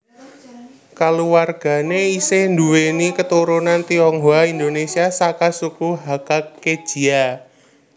Kaluwarganéé isih nduwèni keturunan Tionghoa Indonesia saka suku Hakka Kejia